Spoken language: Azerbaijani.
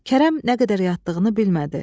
Kərəm nə qədər yatdığını bilmədi.